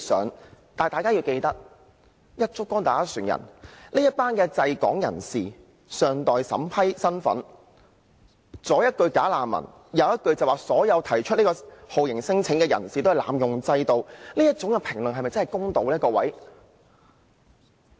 然而，大家要記得這群滯港人士的身份尚待審批，若"一竹篙打一船人"，左一句"假難民"，右一句所有提出酷刑聲請的人士都是濫用制度，哪麼各位，這種評論是否真的公道呢？